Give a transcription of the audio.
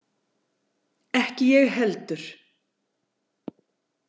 Ekki ég heldur!